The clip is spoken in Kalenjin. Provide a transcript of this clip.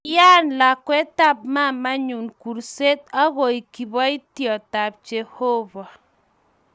Kiyaan lakwetab mamaenyu kurset agoek kiboityotab jehovah